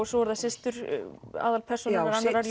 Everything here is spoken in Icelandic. svo eru það systur aðalpersónunnar